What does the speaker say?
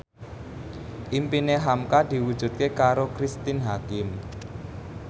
impine hamka diwujudke karo Cristine Hakim